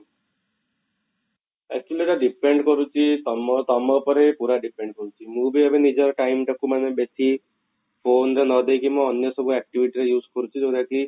actually ଏଇଟା depend କରୁଛି ତମୋ ତମୋ ଉପରେ ପୁରା depend କରୁଛି ମୁଁ ବି ଏବେ ନିଜର time ଟାକୁ ମାନେ ବେଶି phone ରେ ନ ଦେଇକି ମୁଁ ଅନ୍ୟ ସବୁ activity ରେ use କରୁଛି ଯୋଉଟା କି